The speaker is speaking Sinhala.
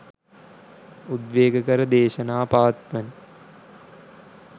උද්වේගකර දේශනා පවත්වන